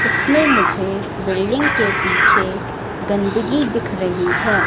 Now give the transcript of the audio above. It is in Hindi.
इसमें मुझे बिल्डिंग के पीछे गंदगी दिख रही है।